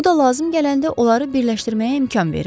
Bu da lazım gələndə onları birləşdirməyə imkan verirdi.